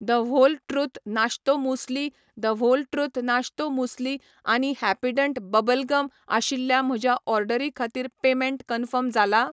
The whole truth नाश्तो muesli, the whole truth नाश्तो muesli आनी हॅपीडेंट बबल गम आशिल्ल्या म्हज्या ऑर्डरी खातीर पेमेंट कन्फर्म जाला ?